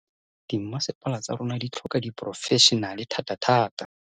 Dimmasepala tsa rona di tlhoka diporofešenale thatathata.